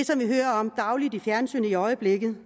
som vi hører om dagligt i fjernsynet i øjeblikket